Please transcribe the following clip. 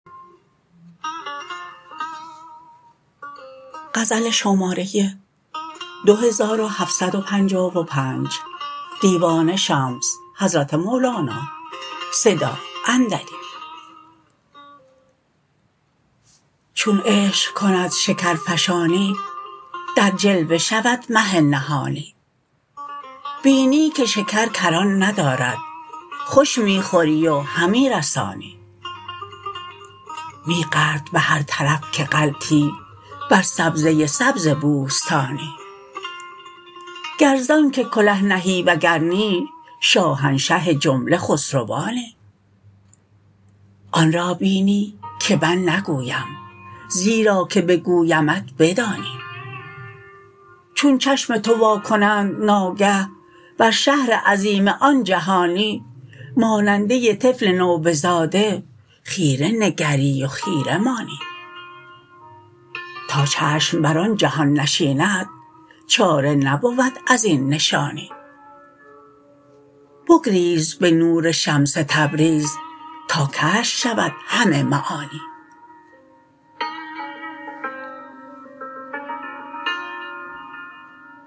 چون عشق کند شکرفشانی در جلوه شود مه نهانی بینی که شکر کران ندارد خوش می خوری و همی رسانی می غلط به هر طرف که غلطی بر سبزه سبز بوستانی گر ز آنک کله نهی وگر نی شاهنشه جمله خسروانی آن را بینی که من نگویم زیرا که بگویمت بدانی چون چشم تو وا کنند ناگه بر شهر عظیم آن جهانی ماننده طفل نوبزاده خیره نگری و خیره مانی تا چشم بر آن جهان نشیند چاره نبود از این نشانی بگریز به نور شمس تبریز تا کشف شود همه معانی